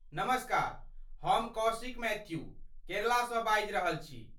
नमस्कार, हम कौशिक मैथ्यू, केरलासँ बाजि रहल छी ।